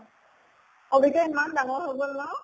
কবিতা ইমান ডাঙৰ হৈ গʼল ন?